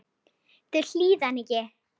Þau hlýða henni ekki.